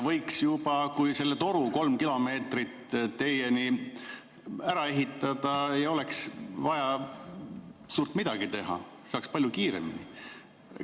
Võiks selle toru, kolm kilomeetrit, teieni ära ehitada, ei oleks vaja suurt midagi teha ja saaks palju kiiremini.